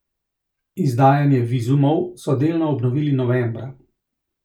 Izdajanje vizumov so delno obnovili novembra.